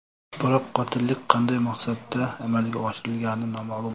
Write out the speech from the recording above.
Biroq qotillik qanday maqsadda amalga oshirilgani noma’lum.